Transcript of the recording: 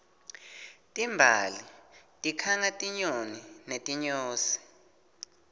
timbali tikhanga tinyoni netinyosi